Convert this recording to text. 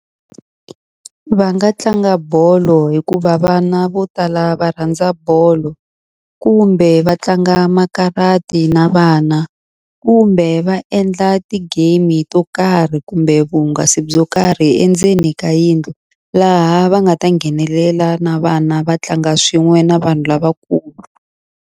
Va nga tlanga bolo hikuva vana vo tala va rhandza bolo, kumbe va tlanga makarati na vana, kumbe va endla ti-game-i to karhi kumbe vuhungasi byo karhi endzeni ka yindlu. Laha va nga ta nghenelela na vana va tlanga swin'we na vanhu lavakulu.